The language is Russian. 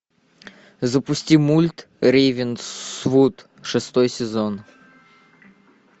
запусти мульт рейвенсвуд шестой сезон